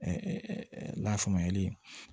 lafaamuya yeli ye